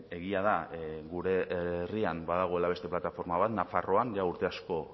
egia da gure herrian badagoela beste plataforma bat nafarroan ja urte asko